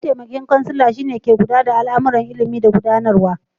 Mataimakin kansila shi ne mutuminda ke kulla da al'amuran ilimi da gudanarwa.